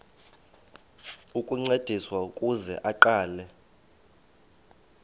ukuncediswa ukuze aqale